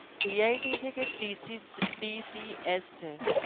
tch છે